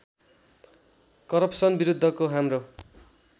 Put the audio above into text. corruption विरुद्धको हाम्रो